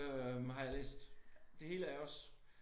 Øh har jeg læst det hele af også